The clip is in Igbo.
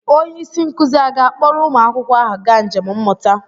Onye isi nkụzi a ga-akpọrọ ụmụ akwụkwọ ahụ gaa njem mmụta?